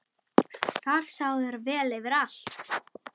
Þar sáu þær vel yfir allt.